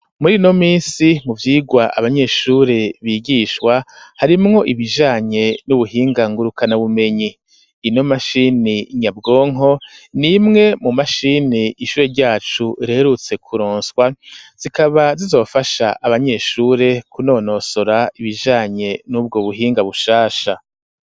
Muri ino minsi, mu vyigwa abanyeshure bigishwa, harimwo ibijanye n'ubuhinga ngurukanabumenyi; ino mashini nyabwonko, ni imwe mu mashini ishure ryacu reherutse kuronswa, zikaba zizofasha abanyeshure kunonosora ibijanye n'ubwo buhinga bushasha.